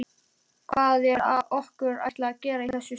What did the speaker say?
Hvað er okkur ætlað að gera í þessu starfi?